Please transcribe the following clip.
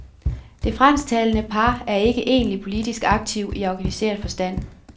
Det fransktalende par er ikke egentlig politisk aktiv i organiseret forstand.